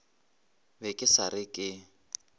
be ke sa re ke